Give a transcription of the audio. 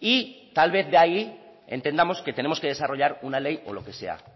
y tal vez de ahí entendamos que tenemos que desarrollar una ley o lo que sea